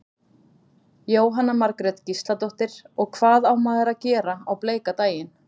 Jóhanna Margrét Gísladóttir: Og hvað á maður að gera á bleika daginn?